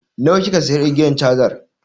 Nawa kika siya igiyar cazan?